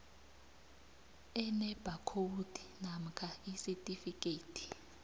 enebhakhowudi namkha isitifikhethi